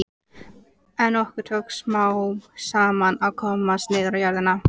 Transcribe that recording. En okkur tókst smám saman að komast niður á jörðina.